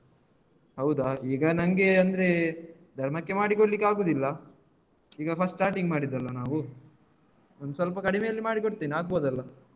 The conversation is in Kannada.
ಹೌದಾ ಈಗ ನಂಗೆ ಅಂದ್ರೆ ಧರ್ಮಕ್ಕೆ ಮಾಡಿಕೊಡ್ಲಿಕೆ ಆಗುದಿಲ್ಲ ಈಗ first starting ಮಾಡಿದಲ್ವಾ ನಾವು ಒಂದ್ ಸ್ವಲ್ಪ ಕಡಿಮೆಯಲ್ಲಿ ಮಾಡಿಕೊಡ್ತೇನೆ ಆಗ್ಬೋದಲ್ಲ?